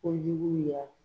Kojuguya